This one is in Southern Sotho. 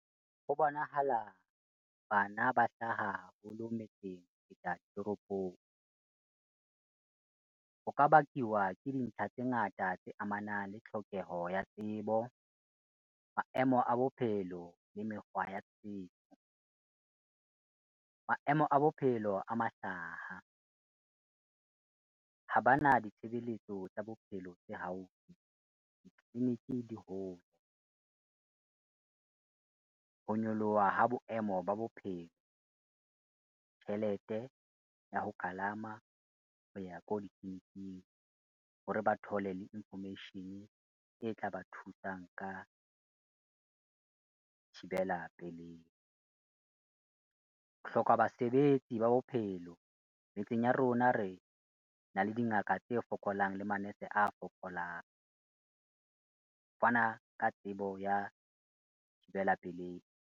Ho bonahala bana ba hlaha haholo metseng ho feta toropong, ho ka bakiwa ke dintlha tse ngata tse amanang le tlhokeho ya tsebo, maemo a bophelo le mekgwa ya setso. Maemo a bophelo a mahlaha, ha ba na ditshebeletso tsa bophelo tse haufi, ditliliniki di hole. Ho nyoloha ha boemo ba bophelo, tjhelete ya ho kalama ho ya ko ditliliniking hore ba thole le information e tla ba thusang ka thibela pelei. Ho hloka basebetsi ba bophelo, metseng ya rona re na le dingaka tse fokolang le manese a fokolang, ho fana ka tsebo ya thibela pelei.